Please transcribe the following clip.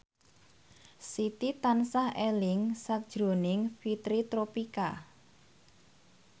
Siti tansah eling sakjroning Fitri Tropika